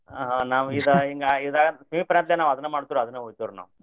ಆ ನಾವ ಇದಾ ಹಿಂಗಾ ಈದಾ ಸಮೀಪ ಇರಾಂತ್ಲೆ ನಾವ ಅದನ್ನ ಮಾಡ್ತೇವ್ರ ಅದನ್ನ ನಾವ್.